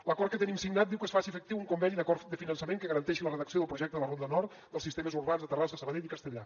l’acord que tenim signat diu que es faci efectiu un conveni d’acord de finançament que garanteixi la redacció del projecte de la ronda nord dels sistemes urbans de terrassa sabadell i castellar